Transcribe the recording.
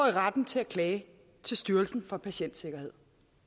i retten til at klage til styrelsen for patientsikkerhed